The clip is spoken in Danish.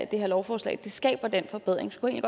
det her lovforslag skaber den forbedring så kunne jeg